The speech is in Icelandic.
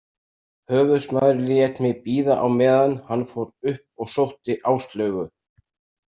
Höfuðsmaðurinn lét mig bíða á meðan hann fór upp og sótti Áslaugu.